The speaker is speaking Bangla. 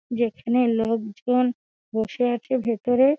যেখানে লোক জন বসে আছে ভিতরে ।